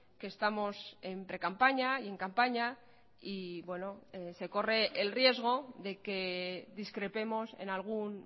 que estamos en precampaña y en campaña y se corre el riesgo de que discrepemos en algún